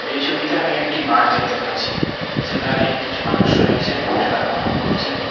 এই ছবিতে আমি একটি মাঠ দেখতে পাচ্ছি যেখানে কিছু মানুষ রয়েছেন খেলা কখনও করছেন।